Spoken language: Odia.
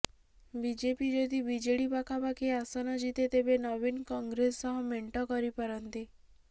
ବିଜେପି ଯଦି ବିଜେଡି ପାଖାପାଖି ଆସନ ଜିତେ ତେବେ ନବୀନ କଂଗ୍ରେସ ସହ ମେଣ୍ଟ କରିପାରନ୍ତି